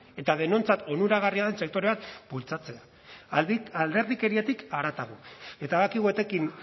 eta denontzat onuragarria den sektore bat bultzatzea alderdikeriatik haratago eta badakigu etekin